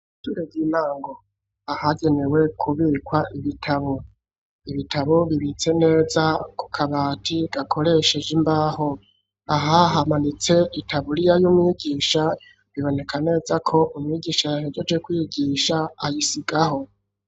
Ishure ry'intango, ahagenewe kubikwa ibitabo. Ibitabo bibitse neza ku kabati gakoresheje imbaho. Aha hamanitse itaburiya y'umwigisha biboneka neza ko umwigisha yahejeje kwigisha ayisigaho.